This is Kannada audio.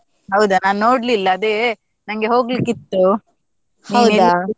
ಹೌದಾ ನಾನ್ ನೋಡ್ಲಿಲ್ಲ ಅದೇ ನಂಗೆ ಹೋಗ್ಲಿಕ್ಕಿತ್ತು.